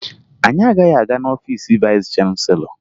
Anyị agaghị aga n'ọfiice vayịs chanselọ